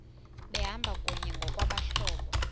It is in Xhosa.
behamba kunye ngokwabahlobo